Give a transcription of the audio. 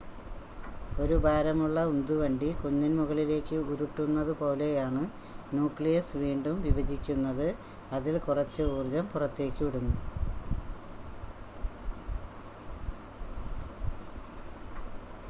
ഒരു ഭാരമുള്ള ഉന്ത് വണ്ടി കുന്നിൻ മുകളിലേക്ക് ഉരുട്ടുന്നത് പോലെയാണ് ന്യൂക്ലിയസ് വീണ്ടും വിഭജിക്കുന്നത് അതിൽ കുറച്ച് ഊർജ്ജം പുറത്തേക്ക് വിടുന്നു